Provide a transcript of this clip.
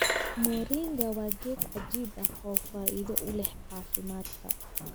Moringa waa geed cajiib ah oo faa'iido u leh caafimaadka.